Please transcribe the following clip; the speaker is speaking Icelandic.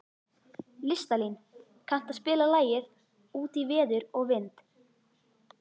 Listalín, kanntu að spila lagið „Út í veður og vind“?